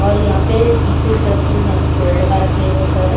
और यहाँ पे पीछे की तरफ से यहाँ पे पेड़ लगा रखे हैं बहुत सारे--